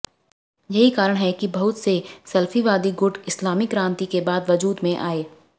यही कारण है कि बहुत से सलफ़ीवादी गुट इस्लामी क्रान्ति के बाद वजूद में आए